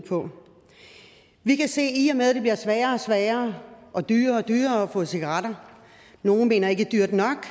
vi kan se at i og med det bliver sværere og sværere og dyrere og dyrere at få cigaretter nogle mener ikke dyrt nok